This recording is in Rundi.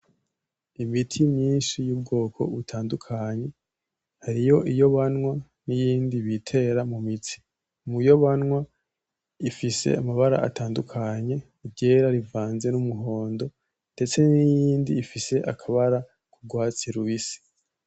Imiti myinshi y'ubwoko butandukanye hariyo iyo banywa niyindi bitera mu mitsi, muyo banywa ifise amabara atandukanye iryera rivanze n'umuhondo. Ndetse nirindi rifise akabara ry'urwatsi rubisi.